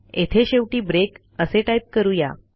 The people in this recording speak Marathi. येथे शेवटी ब्रेक असे टाईप करू या